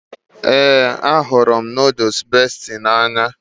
Ee, ahụrụ m nooduls Besti n'anya